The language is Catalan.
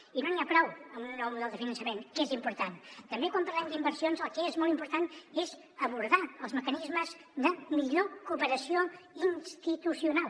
i no n’hi ha prou amb un nou model de finançament que és important també quan parlem d’inversions el que és molt important és abordar els mecanismes de millor cooperació institucional